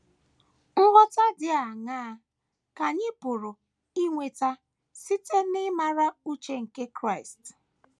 Nghọta dị aṅaa ka anyị pụrụ inweta site n’ịmara uche nke Kraịst?